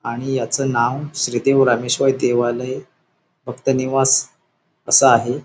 आणि याच नाव श्रीदेव रामेश्वर देवालय भक्त निवास अस आहे.